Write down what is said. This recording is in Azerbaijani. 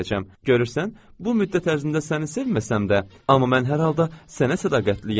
Görürsən, bu müddət ərzində səni sevməsəm də, amma mən hər halda sənə sədaqətliyəm.